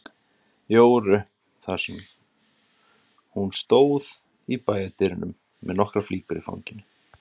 Jóru þar sem hún stóð í bæjardyrunum með nokkrar flíkur í fanginu.